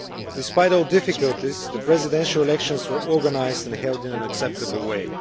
Despite all the difficulties, the Presidential elections were organised and held in an acceptable way.